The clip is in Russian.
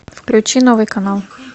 включи новый канал